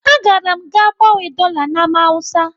Agara m gaa gbanwee dọla na Ámá Hausa.